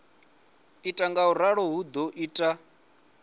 ita ngauralo hu do ita